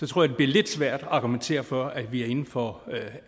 tror det bliver lidt svært at argumentere for at vi er inden for